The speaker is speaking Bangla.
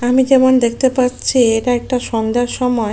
আমি যেমন দেখতে পাচ্ছি এটা একটা সন্ধ্যার সময়।